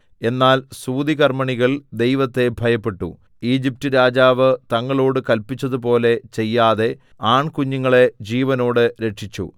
എന്നാൽ സൂതികർമ്മിണികൾ ദൈവത്തെ ഭയപ്പെട്ടു ഈജിപ്റ്റ് രാജാവ് തങ്ങളോട് കല്പിച്ചതുപോലെ ചെയ്യാതെ ആൺകുഞ്ഞുങ്ങളെ ജീവനോടെ രക്ഷിച്ചു